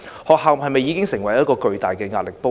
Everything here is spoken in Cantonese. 學校是否已成為一個巨大的壓力鍋？